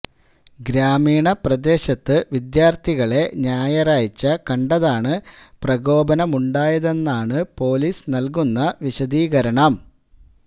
ഗ്രാമീണ പ്രദേശത്ത് വിദ്യാർത്ഥികളെ ഞായറാഴ്ച്ച കണ്ടതാണ് പ്രകോപനമുണ്ടായതെന്നാണ് പൊലീസ് നൽകുന്ന വിശദീകരണം